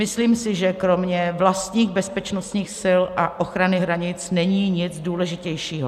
Myslím si, že kromě vlastních bezpečnostních sil a ochrany hranic není nic důležitějšího.